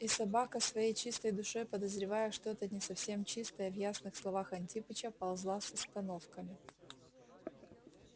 и собака своей чистой душой подозревая что-то не совсем чистое в ясных словах антипыча ползла с остановками